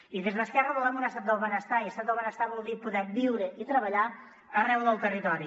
i des d’esquerra volem un estat del benestar i estat del benestar vol dir poder viure i treballar arreu del territori